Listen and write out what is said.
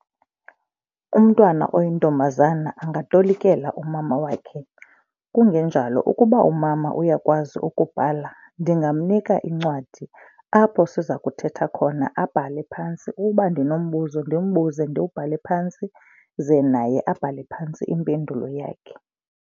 Umntwana oyintombazana angatolikela umama wakhe. Kungenjalo ukuba umama uyakwazi ukubhala ndingamnika incwadi apho siza kuthetha khona abhale phantsi. Uba ndinombuza, ndimbuze ndiwubhale phantsi ze naye abhale phantsi impendulo yakhe.